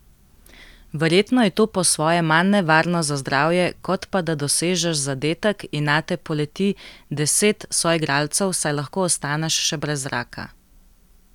Verjetno je to po svoje manj nevarno za zdravje kot pa, da dosežeš zadetek in nate poleti deset soigralcev, saj lahko ostaneš še brez zraka ...